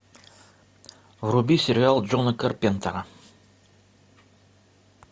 вруби сериал джона карпентера